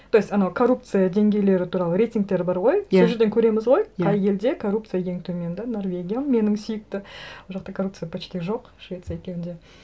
то есть анау коррупция деңгейлері туралы рейтингтер бар ғой иә сол жерден көреміз ғой иә қай елде коррупция ең төмен да норвегиям менің сүйікті ол жақта коррупция почти жоқ швеция екеуінде